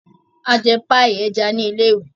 A jẹ paii ẹja ni ilé-ìwé.